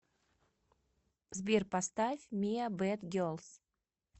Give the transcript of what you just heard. сбер поставь миа бэд гелс